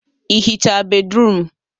Ị hichaa bédrụum?